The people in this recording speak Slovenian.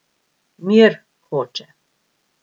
Mir hoče.